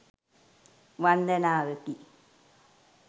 වන්දනාවකි.